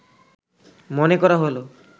মনে করা হল